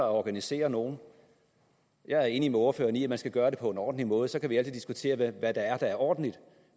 organisere nogle jeg er enig med ordføreren i at man skal gøre det på en ordentlig måde så kan vi altid diskutere hvad der er ordentligt